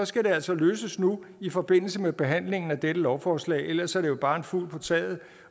skal det altså løses nu i forbindelse med behandlingen af dette lovforslag ellers er det jo bare en fugl på taget